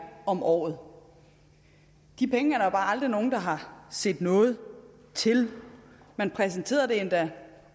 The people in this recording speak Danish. om året de penge er aldrig nogen der har set noget til man præsenterede det endda